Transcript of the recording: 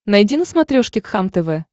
найди на смотрешке кхлм тв